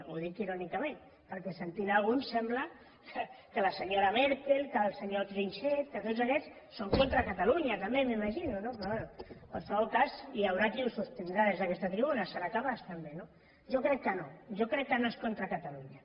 ho dic irònicament perquè sentint ne alguns sembla que la senyora merkel que el senyor trichet que tots aquests són contra catalunya també m’imagino no però bé en qualsevol cas hi haurà qui ho sostindrà des d’aquesta tribuna en serà capaç també no jo crec que no jo crec que no és contra catalunya